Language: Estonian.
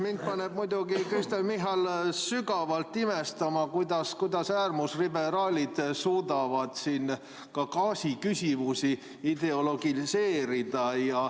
Mind paneb Kristen Michal muidugi sügavalt imestama, kuidas äärmusliberaalid suudavad siin ka gaasiküsimusi ideologiseerida.